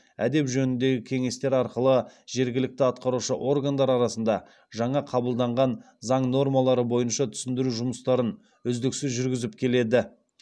әдеп жөніндегі кеңестер арқылы жергілікті атқарушы органдар арасында жаңа қабылданған заң нормалары бойынша түсіндіру жұмыстарын үздіксіз жүргізіп келеді